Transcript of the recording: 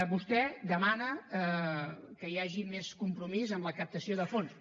vostè demana que hi hagi més compromís amb la captació de fons